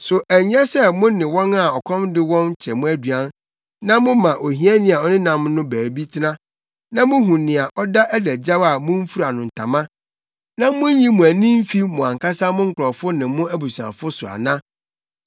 So ɛnsɛ sɛ mo ne wɔn a ɔkɔm de wɔn kyɛ mo aduan na moma ohiani a ɔnenam no baabi tena; na muhu nea ɔda adagyaw a mumfura no ntama na munnyi mo ani mfi mo ankasa mo nkurɔfo ne mo abusuafo so ana?